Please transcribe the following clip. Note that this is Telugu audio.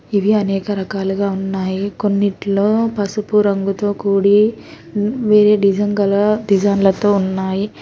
ఇవి అనేక రకాలుగా ఉన్నాయి కొన్నిట్లో పసుపు రంగుతో కూడి వేరే డిజైన్ గల డిజైన్లతో ఉన్నాయి.